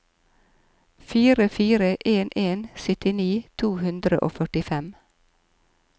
fire fire en en syttini to hundre og førtifem